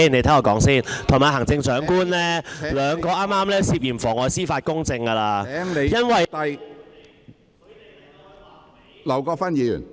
他與行政長官兩人剛才已經涉嫌妨礙司法公正，因為......